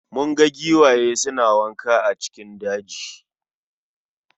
Mun ga giwaye suna wanka a cikin daji